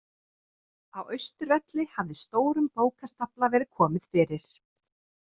Á Austurvelli hafði stórum bókastafla verið komið fyrir.